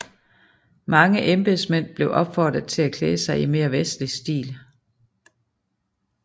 Mange embedsmænd blev opfordret til at klæde sig i en mere vestlig stil